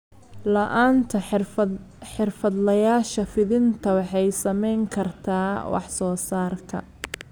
La'aanta xirfadlayaasha fidinta waxay saameyn kartaa wax soo saarka.